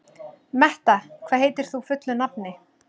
Metta, hvað heitir þú fullu nafni?